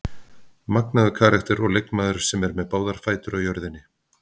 Magnaður karakter og leikmaður sem er með báðar fætur á jörðinni.